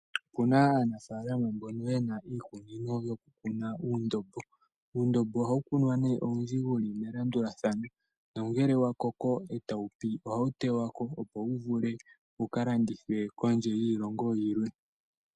Opuna aanafaalama mbono yena iikunino yokukuna uundombo. Uundombo ohawu kunwa owundji wu li melandulathano, nongele wa koko e ta wu pi ohawu tewa ko opo wu vule wu ka landithwe kondje yiilongo yilwe.